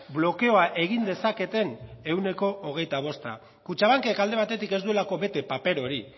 blokeoa egin dezaketen ehuneko hogeita bosta kutxabankek alde batetik ez duelako bete paper hori